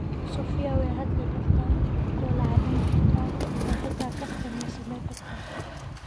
Sofiya way hadli kartaa, dhoola cadeyn kartaa oo xitaa kaftan way sameyn kartaa.